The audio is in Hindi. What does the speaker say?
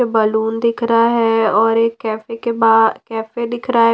बलून दिख रहा हैं और एक कॅफे के बा कॅफे दिख रहा हैं।